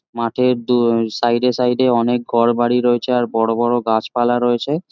মাঠের দু সাইড -এ সাইড -এ অনেক ঘর বাড়ি রয়েছে আর বড়োবড়ো গাছপালা রয়েছে।